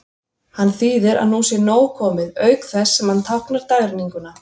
Hann þýðir að nú sé nóg komið, auk þess sem hann táknar dagrenninguna.